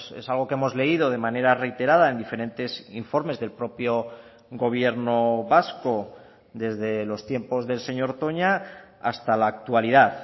es algo que hemos leído de manera reiterada en diferentes informes del propio gobierno vasco desde los tiempos del señor toña hasta la actualidad